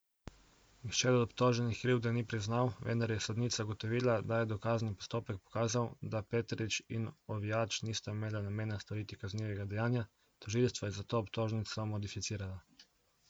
Nihče od obtoženih krivde ni priznal, vendar je sodnica ugotovila, da je dokazni postopek pokazal, da Petrič in Ovijač nista imela namena storiti kaznivega dejanja, tožilstvo je zato obtožnico modificiralo.